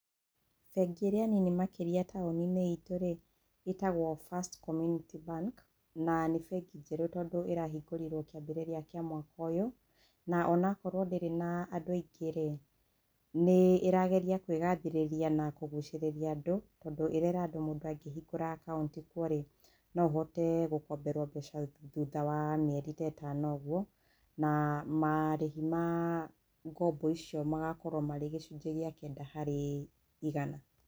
Bengi ĩrĩa nini makĩria taũni-inĩ itũ rĩ, ĩtagwo First Community Bank, na nĩ bengi njerũ tondũ ĩrahingũrirwo kĩambĩrĩria kĩa mwaka ũyũ. Na o na korwo ndĩrĩ na andũ aingĩ rĩ, nĩ ĩrageria kũĩgathĩrĩria na kũgucĩrĩria andũ, tondũ ĩrera andũ mũndũ angĩhingũra akaũnti kuo rĩ, no ũhote gũkomberwo mbeca thutha wa mieri te ĩtano ũguo, na marĩhi ma ngombo icio magakorwo marĩ gĩcunjĩ gĩa kenda harĩ igana.